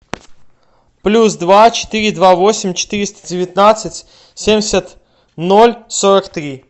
плюс два четыре два восемь четыреста девятнадцать семьдесят ноль сорок три